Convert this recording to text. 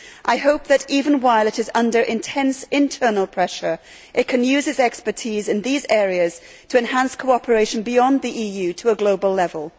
I hope that, even while it is under intense internal pressure, it can use its expertise in these areas to enhance cooperation beyond the EU to a global level.